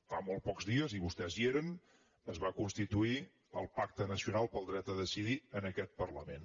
fa molt pocs dies i vostès hi eren es va constituir el pacte nacional per al dret a decidir en aquest parlament